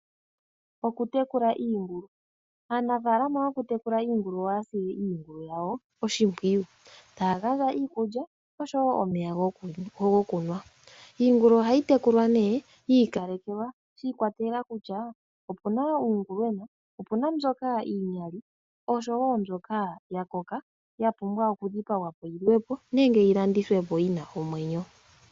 Okutekula iingulu, aanafalama yokutekula iingulu ohaya sile iingulu yawo oshimpwiyu taya gandja iikulya nosho wo omeya gokunwa. Iingulu ohayi tekulwa ne yi ikalekelwa shi ikwatelela kutya, opu na uungulwena, opu na mbyoka iinyali osho wo mbyoka ya koka ya pumbwa okudhipagwa po yi li we po nenge yi landithwe po yi na omwenyo.